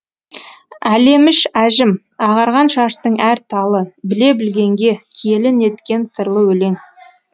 әлеміш әжім ағарған шаштың әр талы біле білгенге киелі неткен сырлы өлең